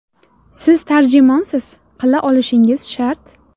Siz tarjimonsiz, qila olishingiz shart.